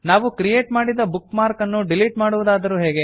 ನಾವು ಕ್ರಿಯೆಟ್ ಮಾಡಿದ bookmark ಅನ್ನು ಡಿಲಿಟ್ ಮಾಡುವುದಾದರೂ ಹೇಗೆ